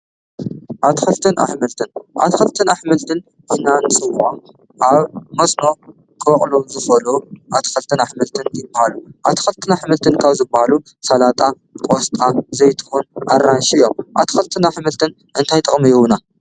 ኣትክልትን ኣሕምልት ኣትክልትን ኣሕምልትን ኢልና እንፅውዖም ኣብ መስኖ ክበቅሉ ዝክእሉ ኣትክልትን ኣሕምልትን ይብሃሉ፡፡ ኣትክልትን ኣሕምልትን ካብ ዝባሃሉ ሰላጣ፣ ቆስጣ፣ ዘይትሁን ኣራንሽን እዮም፡፡ ኣትክልትን ኣሕምልትን እንታይ ጥቅሚ ይህቡና ?